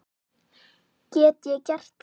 Get ég gert það?